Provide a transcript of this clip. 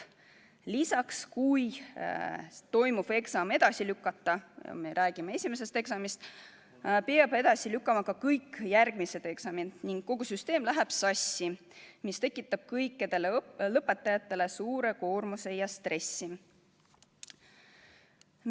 Lisaks, kui toimuv eksam edasi lükata – me räägime esimesest eksamist –, siis peab edasi lükkama ka kõik järgmised eksamid ning kogu süsteem läheb sassi, mis tekitab kõikidele lõpetajatele suure koormuse ja stressi.